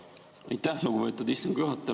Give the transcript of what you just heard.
Aitäh, lugupeetud istungi juhataja!